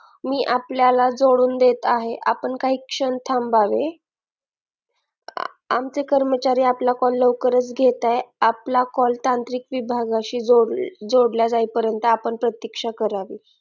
मी आपल्याला सोडून देत आहे आपण काही क्षण थांबावे आमचे कर्मचारी आपला call लवकरच घेत आहे आपला call तांत्रिक विभागाशी जोडला जाईपर्यंत आपण प्रतीक्षा करावे